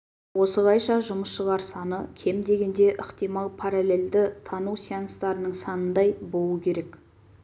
осылайша жұмысшылар саны кем дегенде ықтимал параллельді тану сеанстарының санындай болуы керек